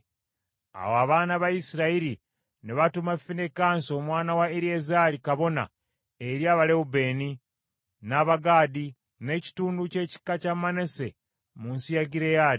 Awo abaana ba Isirayiri ne batuma Finekaasi omwana wa Eriyazaali kabona eri Abalewubeeni, n’Abagaadi, n’ekitundu ky’ekika kya Manase mu nsi ya Gireyaadi.